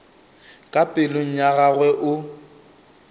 ka pelong ya gagwe o